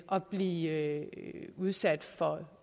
at blive udsat for